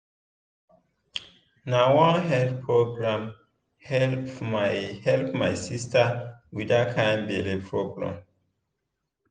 na one health program help my help my sister with that kind belly problem.